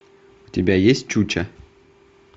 у тебя есть чуча